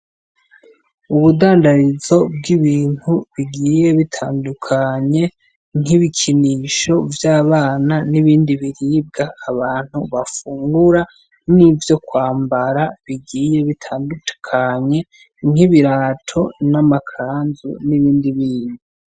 Ubundandarizo bw'ibintu bigiye bitandukanye nk'ibikinisho vy'abana n'ibindi biribwa abantu bafungura, n'ivyo kwambara bigiye bitandukanye nk'ibirato n'amakanzu n'ibindi bindi.